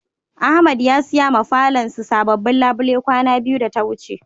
Ahmed ya siya ma falon SI sabobin labule kwana biyu da ta wuce.